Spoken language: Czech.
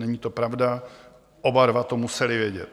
Není to pravda, oba dva to museli vědět.